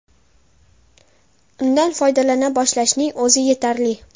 Undan foydalana boshlashning o‘zi yetarli.